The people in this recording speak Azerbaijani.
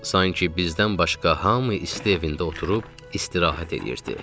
Sanki bizdən başqa hamı isti evində oturub istirahət eləyirdi.